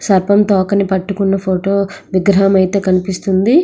సర్పము తోకని పట్టుకున్న ఫోటో విగ్రహం అయితే కనిపిస్తుంది.